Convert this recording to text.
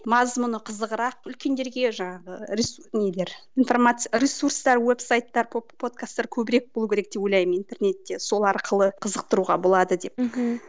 мазмұны қызығырақ үлкендерге жаңағы нелер информация ресурстар веб сайттар подкастар көбірек болу керек деп ойлаймын интернетте сол арқылы қызықтыруға болады деп мхм